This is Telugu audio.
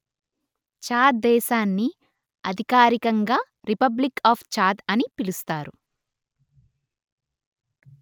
చాద్ దేశాన్ని అధికారికంగా రిపబ్లిక్ ఆఫ్ చాద్ అని పిలుస్తారు